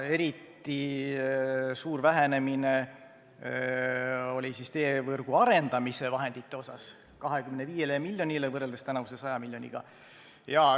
Eriti suur vähenemine on teevõrgu arendamise vahendites – 25 miljonile võrreldes tänavuse 100 miljoniga.